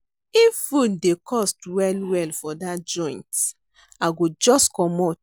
If food dey cost well-well for that joint, I go just comot.